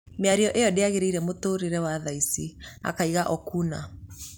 Mĩario ĩyo ndĩagĩrĩire mũtũrĩre wa thaici’’ akiuga Okuna